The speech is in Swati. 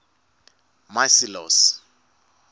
macilose